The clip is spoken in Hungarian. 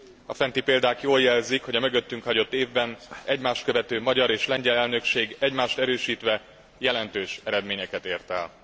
A fenti példák jól jelzik, hogy a mögöttünk hagyott évben egymást követő magyar és lengyel elnökség egymást erősítve jelentős eredményeket ért el.